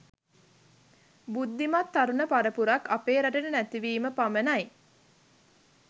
බුද්ධිමත් තරුණ පරපුරක් අපේ රටට නැතිවීම පමණයි.